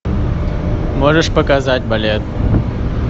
можешь показать балет